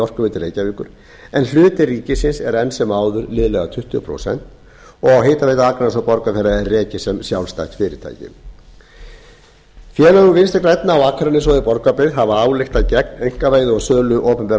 orkuveitu reykjavíkur en hlutur ríkisins er enn sem áður liðlega tuttugu prósent og hitaveita akraness og borgarfjarðar er rekið sem sjálfstætt fyrirtæki félög vinstri grænna á akranesi og í borgarbyggð hafa ályktað gegn einkavæðingu og sölu opinberra